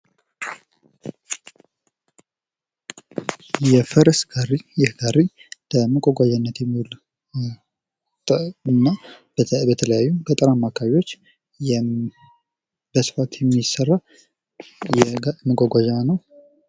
የፈረስ ጋሪ ይህ ጋሪ ለመጓጓዣነት የሚውል ነው። እና በተለያዩ ገጠራማ አካባቢዎች በስፋት የሚሰራ መጓጓዣ ነው።